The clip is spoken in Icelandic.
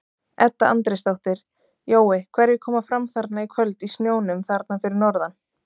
Edda Andrésdóttir: Jói hverjir koma fram þarna í kvöld í snjónum þarna fyrir norðan?